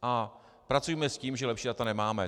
A pracujme s tím, že lepší data nemáme.